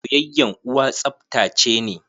Soyayyan uwa tsaftace ne.